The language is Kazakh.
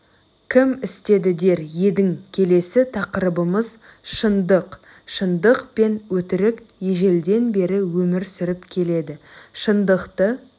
кім істеді дер едің келесі тақырыбымыз шындық шындық пен өтірік ежелден бері өмір сүріп келеді шындықты